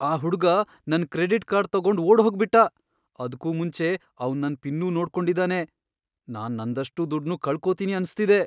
ಆ ಹುಡ್ಗ ನನ್ ಕ್ರೆಡಿಟ್ ಕಾರ್ಡ್ ತಗೊಂಡ್ ಓಡ್ಹೋಗ್ಬಿಟ್ಟ! ಅದ್ಕೂ ಮುಂಚೆ ಅವ್ನ್ ನನ್ ಪಿನ್ನೂ ನೋಡ್ಕೊಂಡಿದಾನೆ. ನಾನ್ ನಂದಷ್ಟೂ ದುಡ್ನೂ ಕಳ್ಕೊತೀನಿ ಅನ್ಸ್ತಿದೆ.